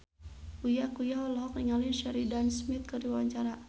Uya Kuya olohok ningali Sheridan Smith keur diwawancara